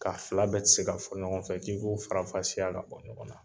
K'a fila bɛ tɛ se ka fɔ ɲɔgɔn fɛ , k'i k'u farafasiya ka bɔ ɲɔgɔn na.